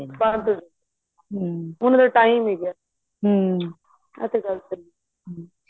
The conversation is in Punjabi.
ਬੰਦ ਹੋ ਜਾਂਦੇ ਨੇ ਉਹਨਾ ਦਾ time ਹੀ ਗਿਆ ਆਂ ਤਾਂ ਗ਼ਲਤ ਨੇ